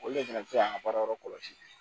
Olu le fɛnɛ bɛ se k'an ka baarayɔrɔ kɔlɔsi